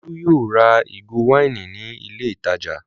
Olú yóò ra ìgò wáìnì ní ilé-ìtajà!